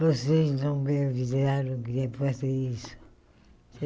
Vocês não me avisaram que ia fazer isso.